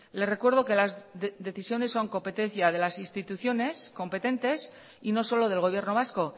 le recuerdo que las decisiones son competencia de las instituciones competentes y no solo del gobierno vasco